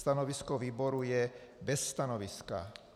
Stanovisko výboru je - bez stanoviska.